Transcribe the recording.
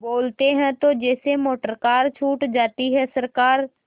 बोलते हैं तो जैसे मोटरकार छूट जाती है सरकार